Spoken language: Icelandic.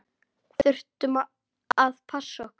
Þurftum að passa okkur.